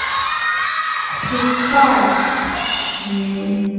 ਓਖਾ